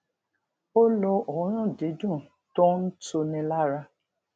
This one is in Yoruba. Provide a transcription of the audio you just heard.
ó lo òórùn dídùn tó ń tuni lára